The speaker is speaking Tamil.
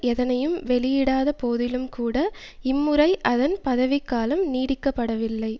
எதனையும் வெளியிடாத போதிலும் கூட இம்முறை அதன் பதவிக் காலம் நீடிக்கப்படவில்லை